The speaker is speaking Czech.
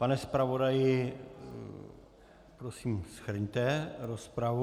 Pane zpravodaji, prosím, shrňte rozpravu.